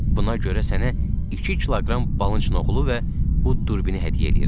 Buna görə sənə iki kiloqram balınçoğlu və bu durbini hədiyyə eləyirəm.